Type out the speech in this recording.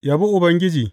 Yabi Ubangiji.